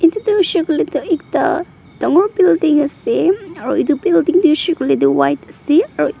etu tu hoishe koile tu ekta dangor building ase aro etu building tu huishe koile tu white ase aro--